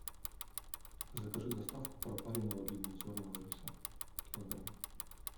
закажи доставку пропаренного длиннозерного риса килограмм